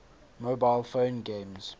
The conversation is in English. mobile phone games